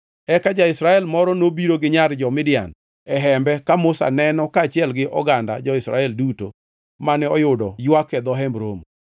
Eka ja-Israel moro nobiro gi nyar jo-Midian e hembe ka Musa neno kaachiel gi oganda jo-Israel duto mane oyudo ywak e dho Hemb Romo.